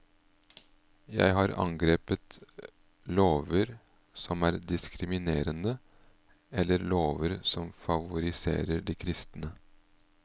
Jeg har angrepet lover som er diskrimerende, eller lover som favoriserer de kristne.